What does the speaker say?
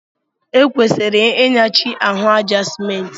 E kwesịrị Ị nyachi ahụ àjá Simenti